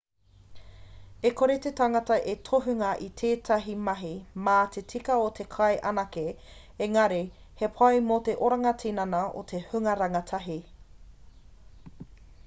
e kore te tangata e tohunga i tētahi mahi mā te tika o te kai anake engari he pai mō te oranga tinana o te hunga rangatahi